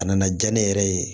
A nana diya ne yɛrɛ ye